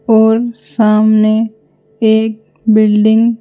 और सामने एक बिल्डिंग।